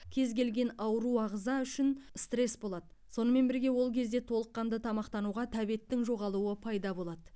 кез келген ауру ағза үшін стресс болады сонымен бірге ол кезде толыққанды тамақтануға тәбеттің жоғалуы пайда болады